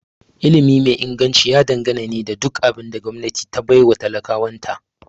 Ilimi mai Inganci ya dangana ne da duk abin da gwamnati ta baiwa talakawan ta